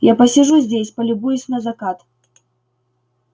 я посижу здесь полюбуюсь на закат